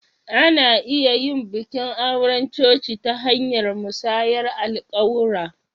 Ana iya yin bikin auren coci ta hanyar musayar alƙawura.